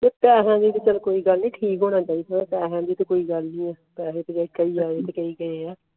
chit ਦਾ ਹੈ ਕ ਠੀਕ ਹੋਣਾ ਚਾਹੀਦਾ ਪੈਸੇ ਦੀ ਤੇ ਕੋਈ ਗੱਲ ਨਹੀਂ